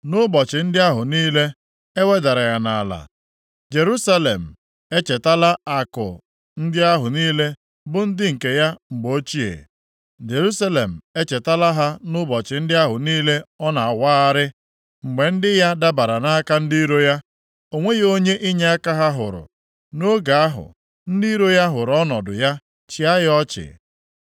Nʼụbọchị ndị ahụ niile e wedara ya nʼala, Jerusalem echetala akụ ndị ahụ niile bụ nke ya na mgbe ochie. Jerusalem echetala ha nʼụbọchị ndị ahụ niile ọ na-awagharị. Mgbe ndị ya dabara nʼaka ndị iro ya, o nweghị onye inyeaka ha hụrụ. Nʼoge ahụ, ndị iro ya hụrụ ọnọdụ ya, chịa ya ọchị.